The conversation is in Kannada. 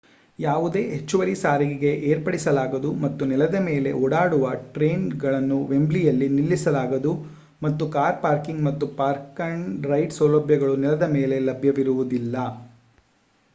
ಯಾವುದೇ ಹೆಚ್ಚುವರಿ ಸಾರಿಗೆ ಏರ್ಪಡಿಸಲಾಗದು ಮತ್ತು ನೆಲದ ಮೇಲೆ ಓಡಾಡುವ ಟ್ರೇನುಗಳನ್ನು ವೆಂಬ್ಲೀಯಲ್ಲಿ ನಿಲ್ಲಿಸಲಾಗದು ಹಾಗು ಕಾರ್ ಪಾರ್ಕಿಂಗ್ ಮತ್ತು ಪಾರ್ಕ್-ಅಂಡ್-ರೈಡ್ ಸೌಲಭ್ಯಗಳು ನೆಲದ ಮೇಲೆ ಲಭ್ಯವಿರುವುದಿಲ್ಲ